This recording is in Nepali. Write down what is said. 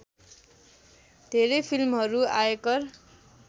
धेरै फिल्महरू आयकर